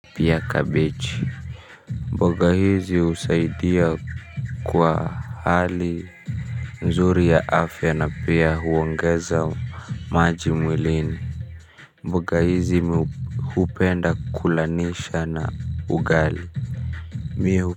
Pia kabichi mboga hizi husaidia kwa hali nzuri ya afya na pia huongeza maji mwilini mboga hizi mimi hupenda kulanisha na ugali mimi hu.